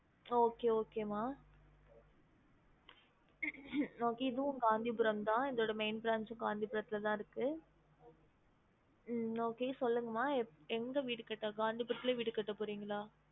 Okay okay மா இதுவும் காந்திபுரம் தான் இதோட main branch காந்திபுரத்துல தான் இருக்கு உம் okay சொல்லுங்கம்மா எங்~ எங்க வீடு கட்ட காந்திபுரத்ல வீடு கட்ட போறிங்களா?